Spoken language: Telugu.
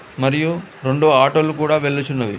మరియు రెండు ఆటోలు కూడా వెళ్ళుచున్నవి.